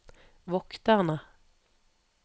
vokterne